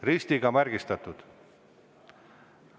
Ristiga märgistatakse.